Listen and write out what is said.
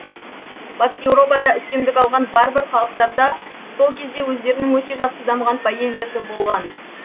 батыс еуропада үстемдік алған варвар халықтарда сол кезде өздерінің өте жақсы дамыған поэзиясы болған